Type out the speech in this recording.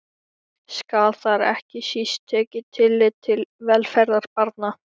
Skal þar ekki síst tekið tillit til velferðar barna.